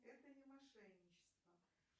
это не мошенничество